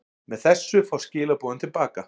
Með þessu fást skilaboðin til baka.